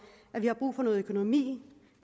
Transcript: at vi har brug for noget økonomi